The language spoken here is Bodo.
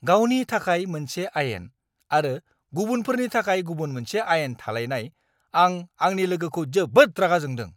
गावनि थाखाय मोनसे आयेन आरो गुबुनफोरनि थाखाय गुबुन मोनसे आयेन थालायनाय, आं आंनि लोगोखौ जोबोद रागा जोंदों।